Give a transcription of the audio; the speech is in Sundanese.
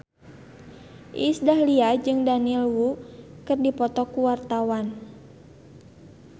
Iis Dahlia jeung Daniel Wu keur dipoto ku wartawan